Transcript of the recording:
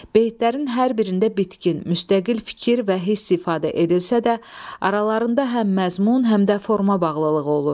Beytlərin hər birində bitkin, müstəqil fikir və hiss ifadə edilsə də, aralarında həm məzmun, həm də forma bağlılığı olur.